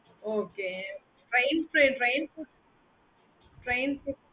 okay